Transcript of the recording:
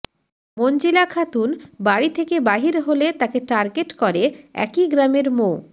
মঞ্জিলা খাতুন বাড়ি থেকে বাহির হলে তাকে টার্গেট করে একই গ্রামের মো